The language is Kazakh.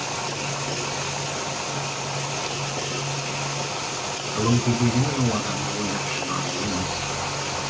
ғылым дегеніңіз ол адамның ойлап шығаруы емес